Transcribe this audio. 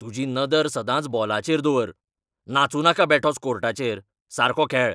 तुजी नदर सदांच बॉलाचेर दवर! नाचूं नाका बेठोच कोर्टाचेर. सारको खेळ.